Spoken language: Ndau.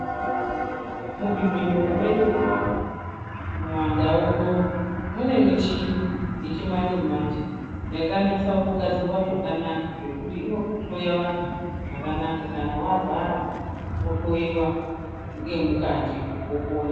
Muzvibhedhlera medu munomu munandau munomu mune michini yechi manje manje yakanasa kugadzirwa zvakanaka zvekuti inohloya vantu zvakanaka kana varwara wohloiwa ngemukati wopona.